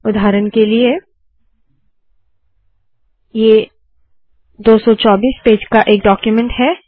उदाहरण के लिए ये 224 पेज का एक डाक्यूमेन्ट है